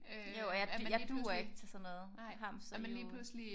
Jo og jeg jeg duer ikke til sådan noget hamsterhjul